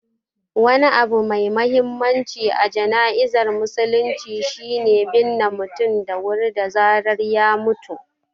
Wani abu mai mahimmanci a jana'izar musulunci shi ne binne mutum da wuri da zarar ya mutu.